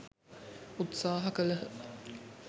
උත්සාහ කළහ.